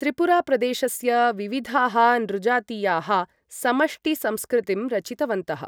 त्रिपुरा प्रदेशस्य विविधाः नृजातीयाः समष्टिसंस्कृतिं रचितवन्तः।